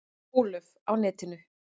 Ólöf: Á netinu?